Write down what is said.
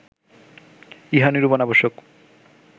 ইহা নিরূপণ আবশ্যক